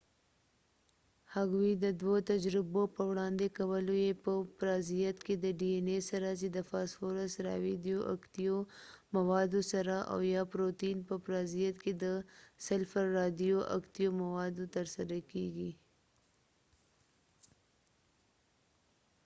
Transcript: هغوۍ د دوه تجربو په وړاندې کولو سره چې dna یې په پرازیت کې د فاسفورس رادیو اکتیو موادو سره او یا پروتین په پرازیت کې د سلفر رادیو اکتیو موادو تر سره کړې